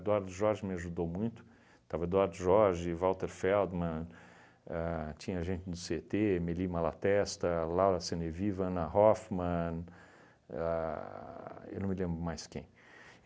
Jorge me ajudou muito, estava Eduardo Jorge, Walter Feldman, ahn tinha gente do cê e tê, Meli Malatesta, Laura Seneviva, Ana Hoffman, a eu não me lembro mais quem.